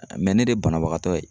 ne de ye banabagatɔ ye.